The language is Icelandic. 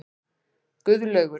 Guðlaugur